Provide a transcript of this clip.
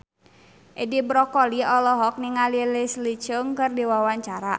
Edi Brokoli olohok ningali Leslie Cheung keur diwawancara